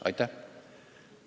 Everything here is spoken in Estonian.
Aitäh!